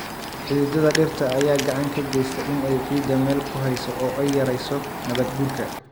Xididdada dhirta ayaa gacan ka geysta in ay ciidda meel ku hayso oo ay yarayso nabaad-guurka.